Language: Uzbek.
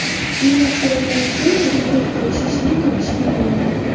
Minglab suratlar ichidan tabiiy tortga o‘xshashini topish qiyin bo‘ldi.